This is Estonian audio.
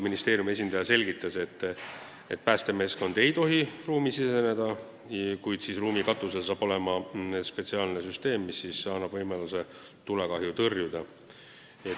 Ministeeriumi esindaja selgitas, et päästemeeskond ei tohi ruumi siseneda, kuid ruumi katusele tuleb spetsiaalne süsteem, mis annab võimaluse tulekahju tõrjuda.